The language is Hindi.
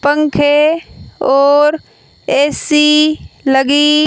पंखे और ए_सी लगी--